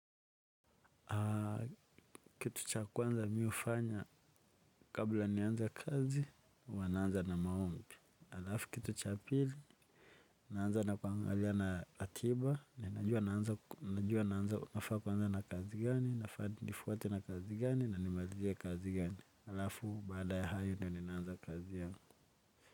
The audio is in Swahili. Kitu cha kwanza mimi hufanya. Kabla nianze kazi, huwa naanza na maombi. Alafu kitu cha pili, naanza na kuangalia na akiba na najua naanza nafaa kuanza na kazi gani, nifuate na kazi gani na nimalizie kazi gani, alafu baada ya hayo ndo ninaanza kazi yangu.